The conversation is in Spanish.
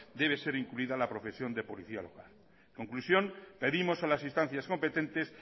debe ser incluida la profesión de policía local conclusión pedimos a las instancias competentes